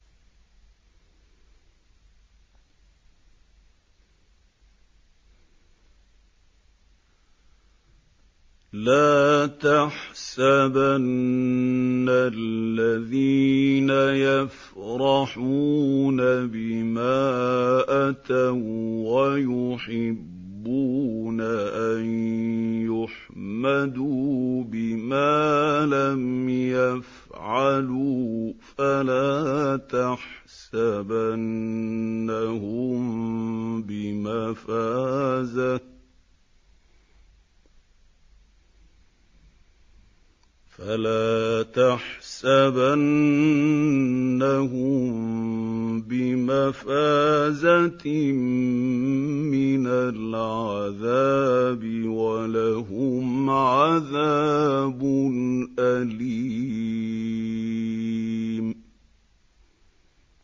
لَا تَحْسَبَنَّ الَّذِينَ يَفْرَحُونَ بِمَا أَتَوا وَّيُحِبُّونَ أَن يُحْمَدُوا بِمَا لَمْ يَفْعَلُوا فَلَا تَحْسَبَنَّهُم بِمَفَازَةٍ مِّنَ الْعَذَابِ ۖ وَلَهُمْ عَذَابٌ أَلِيمٌ